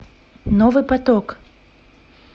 новый поток